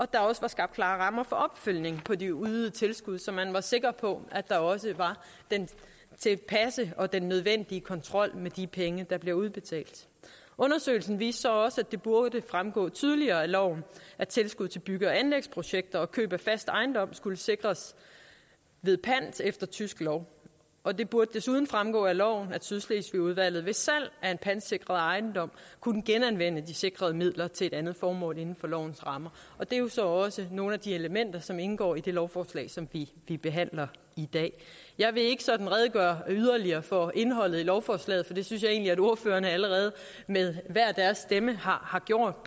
der også var skabt klare rammer for opfølgningen på de ydede tilskud så man var sikker på at der var den tilpasse og den nødvendige kontrol med de penge der blev udbetalt undersøgelsen viste så også at det burde fremgå tydeligere af loven at tilskud til bygge og anlægsprojekter og køb af fast ejendom skulle sikres ved pant efter tysk lov og det burde desuden fremgå af loven at sydslesvigudvalget ved salg af en pantsikret ejendom kunne genanvende de sikrede midler til et andet formål inden for lovens rammer og det er jo så også nogle af de elementer som indgår i det lovforslag som vi vi behandler i dag jeg vil ikke sådan redegøre yderligere for indholdet af lovforslaget for det synes jeg egentlig at ordførerne allerede med hver deres stemme har gjort